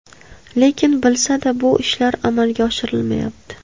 Lekin bilsa-da, bu ishlar amalga oshirilmayapti.